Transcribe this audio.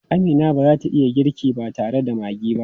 Amina ba za ta iya girki ba tare da maggi ba.